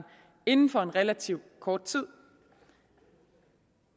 inden for relativt kort tid